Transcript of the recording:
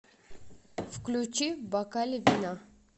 включи в бокале вина